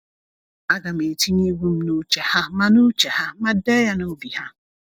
"Agam etinye iwu m n’uche ha ma n’uche ha ma dee ya n’obi ha."